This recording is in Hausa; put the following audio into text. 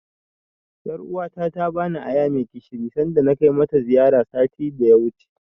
Ƴaruwa ta ta bani aya mai gishiri sanda na kai mata ziyara, satin da ya wuce.